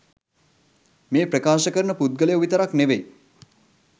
මේ ප්‍රකාශ කරන පුද්ගලයො විතරක් නෙවෙයි